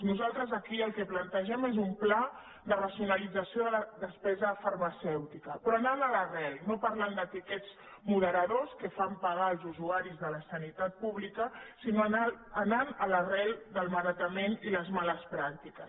nosaltres aquí el que plantegem és un pla de racionalització de la despesa farmacèu·tica però anant a l’arrel no parlant de tiquets mode·radors que fan pagar als usuaris de la sanitat pública sinó anant a l’arrel del malbaratament i les males pràc·tiques